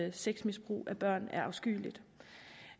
at sexmisbrug af børn er afskyeligt